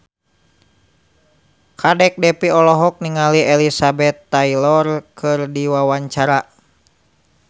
Kadek Devi olohok ningali Elizabeth Taylor keur diwawancara